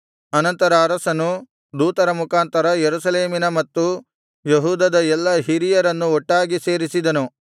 ಅನಂತರ ಅರಸನು ದೂತರ ಮುಖಾಂತರ ಯೆರೂಸಲೇಮಿನ ಮತ್ತು ಯೆಹೂದದ ಎಲ್ಲಾ ಹಿರಿಯರನ್ನು ಒಟ್ಟಾಗಿ ಸೇರಿಸಿದನು